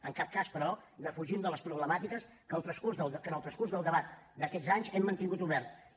en cap cas però defugim les problemàtiques que en el transcurs del debat d’aquests anys hem mantingut obertes